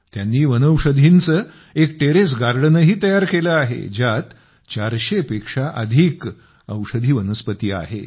त्यांनी वनौषधींचे एक टेरेस गार्डनही तयार केले आहे ज्यात 400 पेक्षा अधिक औषधी वनस्पती आहेत